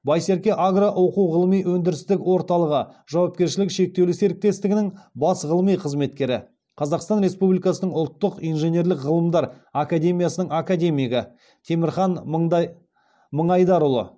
байсерке агро оқу ғылыми өндірістік орталығы жауапкершілігі шектеулі серіктестігінің бас ғылыми қызметкері қазақстан республикасының ұлттық инженерлік ғылымдар академиясының академигі темірхан мыңайдарұлы